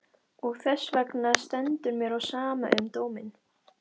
Og þessvegna stendur mér á sama um dóminn.